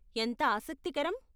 ఎంత ఆసక్తికరం!